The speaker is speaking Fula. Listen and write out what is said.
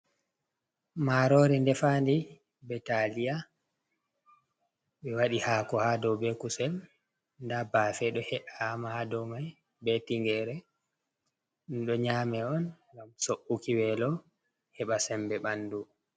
Maaroori ndefaandi, be taalia, ɓe waɗi haako haa dow be kusel. Ndaa baafe ɗo he’aama ha dow mai, be tingeere, ɗum ɗo nyaame on ngam so’uki weelo, heɓa sembe ɓandu.